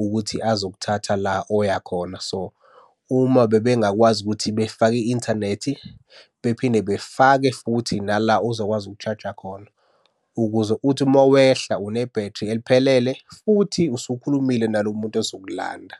ukuthi azokuthatha la oyakhona. So, uma bebengakwazi ukuthi befake i-inthanethi bephinde befake futhi nala ozokwazi uku-charger khona ukuze uthi uma wehla unebhethri eliphelele futhi usukhulumile nalo muntu ozokulanda.